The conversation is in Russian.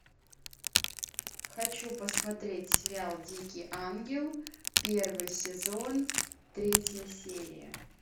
хочу посмотреть сериал дикий ангел первый сезон третья серия